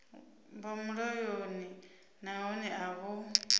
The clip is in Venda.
vha mulayoni nahone a vho